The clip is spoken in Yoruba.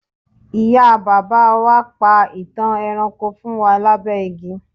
ìyá bàbá wa pa itan ẹranko fún wa labẹ igi